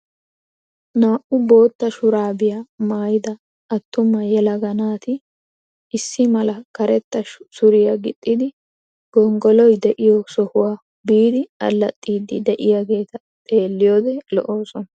Naa"u bootta shuraabiyaa maayida attuma yelaga naati issi mala karetta suriyaa gixxidi gonggoloy de'iyoo sohuwaa biidi allaxxiidi de'iyaageta xeelliyoode lo"oosona.